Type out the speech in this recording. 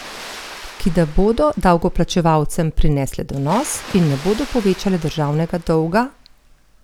Ki da bodo davkoplačevalcem prinesle donos in ne bodo povečale državnega dolga?